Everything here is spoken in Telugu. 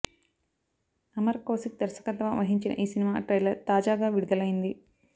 అమర్ కౌశిక్ దర్శకత్వం వహించిన ఈ సినిమా ట్రైలర్ తాజాగా విడుదలైంది